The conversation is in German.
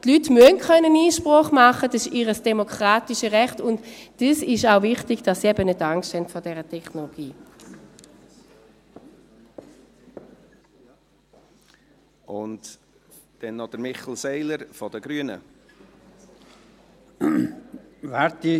Die Leute müssen Einsprache machen können, dies ist ihr demokratisches Recht, und es ist auch wichtig, dass sie eben nicht Angst haben vor dieser Technologie.